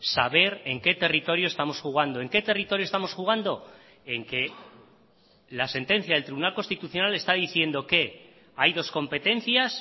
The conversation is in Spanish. saber en qué territorio estamos jugando en qué territorio estamos jugando en que la sentencia del tribunal constitucional está diciendo que hay dos competencias